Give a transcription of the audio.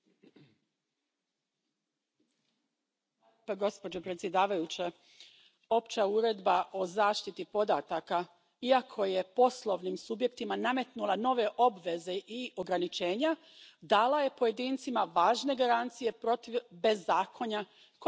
Poštovana predsjedavajuća, Opća uredba o zaštiti podataka, iako je poslovnim subjektima nametnula nove obveze i ograničenja, dala je pojedincima važne garancije protiv bezakonja koje je nažalost znalo vladati u tom području.